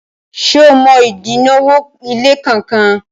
ṣe ọ mọ odinwo ile kán kán?